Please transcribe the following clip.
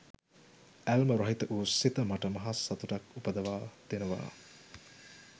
ඇල්ම රහිත වූ සිත මට මහ සතුටක් උපදවා දෙනවා